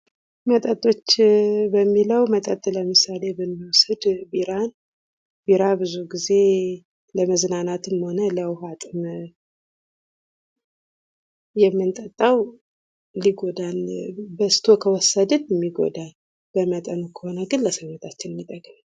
መጠጦች ለሚለው መጠጥ ለምሳሌ ብንወስድ ቢራን ቢራ ብዙ ግዜ ለመዝናናትም ሆነ ለውሀ ጥም የምንጠጣው ሊጎዳን በዝቶ ከወሰድን የሚጎዳን በመጠኑ ከሆነ ግን ለሰውነታችን የሚጠቅመን።